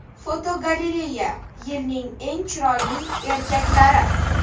Fotogalereya: Yilning eng chiroyli erkaklari.